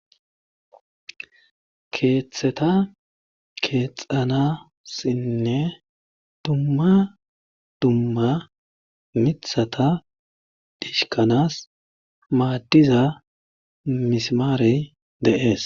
Keetheta keexxanasinne dumma dumma mithata dhishkkanaas maaddiza mismaarey de7ees.